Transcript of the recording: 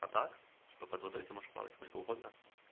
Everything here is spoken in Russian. а так типа под водой плавать ты можешь сколько угодно